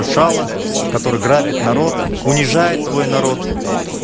шала который грабит народ унижает свой народ